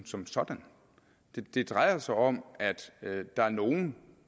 som sådan det drejer sig om at der er nogle